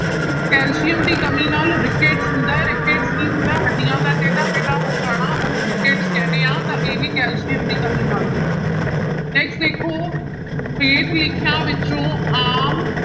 calcium ਦੀ ਕਮੀ rickets ਹੁੰਦਾ ਹੈ, ਰਿਕੇਟ ਕੀ ਹੁੰਦਾ ਹੱਡੀਆਂ ਦਾ ਟੇਢਾ ਮੇਢਾ ਹੋ ਜਾਣਾ ਉਹਨੂੰ ਰਿਕੇਟ ਕਹਿੰਦੇ ਹਾਂ ਤਾਂ ਇਹ ਕੈਲਸੀਅਮ ਦੀ ਕਮੀ ਨਾਲ ਹੁੰਦਾ ਹੈ next ਦੇਖੋ ਹੇਠ ਲਿਖਿਆਂ ਵਿੱਚੋਂ ਆਮ